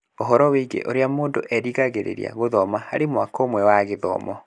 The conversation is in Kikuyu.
Ũhoro wĩgiĩ ũrĩa mũndũ erĩgagĩrĩra gũthoma harĩ mwaka ũmwe wa gĩthomo.